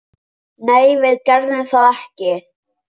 Nei, við gerðum það ekki.